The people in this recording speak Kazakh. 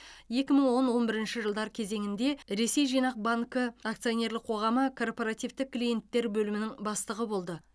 екі мың он он бірінші жылдар кезеңінде ресей жинақ банкі акционерлік қоғамы корпоративтік клиенттер бөлімінің бастығы болды